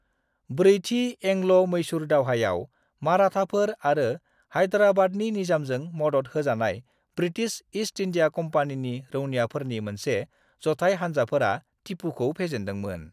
ब्रैथि एंग्ल'-मैसूर दावहायाव, माराठाफोर आरो हायद्राराबादनि निजामजों मदद होजानाय ब्रिटिश ईस्ट इंडिया कम्पानीनि रौनियाफोरनि मोनसे जथाय हान्जाफोरा, टीपूखौ फेजेनदोंमोन।